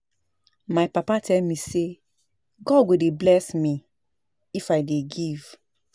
My papa tell me say God go dey bless me if I dey give